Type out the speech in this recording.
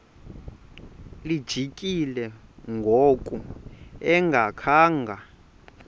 lijikile ngoku engakhanga